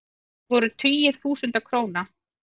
Það voru tugir þúsunda króna.